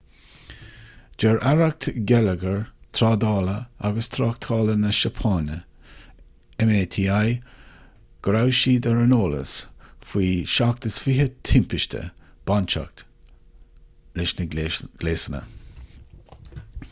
deir aireacht geilleagair trádála agus tráchtála na seapáine meti go raibh siad ar an eolas faoi 27 timpiste bainteach leis na gléasanna